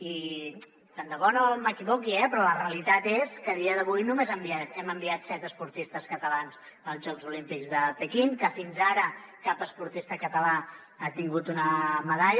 i tant de bo no m’equivoqui però la realitat és que a dia d’avui només hem enviat set esportistes catalans als jocs olímpics de pequín que fins ara cap esportista català ha tingut una medalla